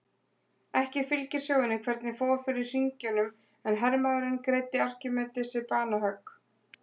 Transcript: Ekki fylgir sögunni hvernig fór fyrir hringjunum en hermaðurinn greiddi Arkímedesi banahögg.